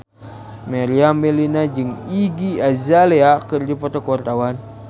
Meriam Bellina jeung Iggy Azalea keur dipoto ku wartawan